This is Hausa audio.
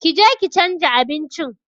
Ƙi je ki chanza abincin!